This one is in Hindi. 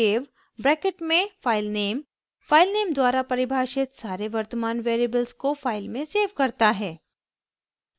save ब्रैकेट में filename फाइलनेम द्वारा परिभाषित सारे वर्तमान वेरिएबल्स को फाइल में सेव करता है